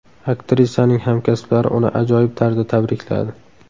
Aktrisaning hamkasblari uni ajoyib tarzda tabrikladi.